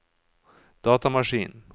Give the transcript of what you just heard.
datamaskin